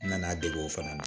N nana dege o fana na